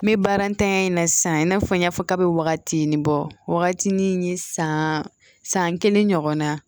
N bɛ baaratanya in na sisan i n'a fɔ n y'a fɔ kabini wagati nin bɔ wagati ni san san kelen ɲɔgɔnna